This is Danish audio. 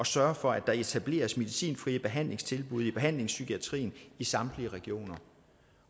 sørge for at der etableres medicinfrie behandlingstilbud i behandlingspsykiatrien i samtlige regioner